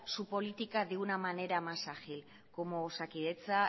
su política de una manera más ágil como osakidetza